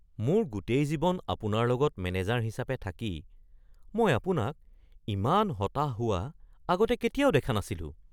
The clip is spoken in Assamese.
মোৰ গোটেই জীৱন আপোনাৰ লগত মেনেজাৰ হিচাপে থাকি, মই আপোনাক ইমান হতাশ হোৱা আগতে কেতিয়াও দেখা নাছিলোঁ।